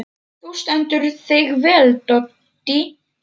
Þú stendur þig vel, Doddý!